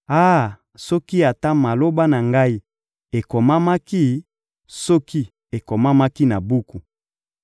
Ah, soki ata maloba na ngai ekomamaki, soki ekomamaki na buku!